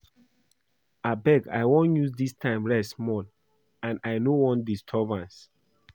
Abeg I wan use dis time rest small and I no want disturbance